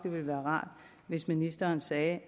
være rart hvis ministeren sagde